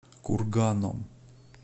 курганом